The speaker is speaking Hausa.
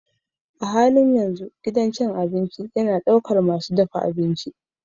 A halin yanzu gidan cin abinci yana ɗaukar masu dafa abinci.